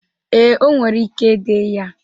Ee, o nwere ike de ya.